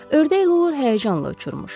Ördək luvr həyəcanla uçurmuş.